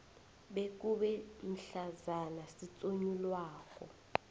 bekube mhlazana sitsonyulwako